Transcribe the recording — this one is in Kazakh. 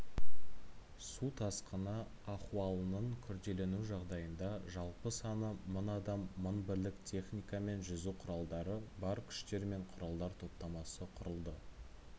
су тасқыны ахуалының күрделену жағдайында жалпы саны мың адам мың бірлік техника мен жүзу құралдары бар күштер мен құралдар топтамасы құрылды